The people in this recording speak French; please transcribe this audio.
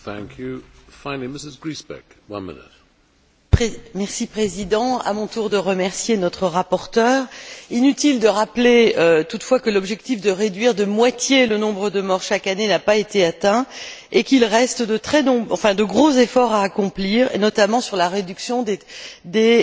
Monsieur le Président, à mon tour, je remercie notre rapporteure. Inutile de rappeler, toutefois, que l'objectif de réduire de moitié le nombre de morts chaque année n'a pas été atteint et qu'il reste de gros efforts à accomplir, notamment sur la réduction des